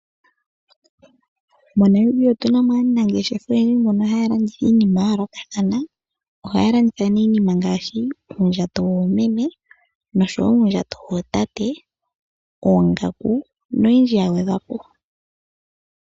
MoNamibia otu na mo aanangeshefa oyendji mbono haa landitha iinima ya yooloka. Ohaya landitha iinima ngaashi uundjato woomeme, nosho wo uundjato wootate, oongaku noyindji ya gwedhwa po.